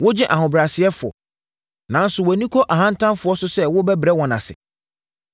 Wogye ahobrɛasefoɔ, nanso wʼani kɔ ahantanfoɔ so sɛ wobɛbrɛ wɔn ase.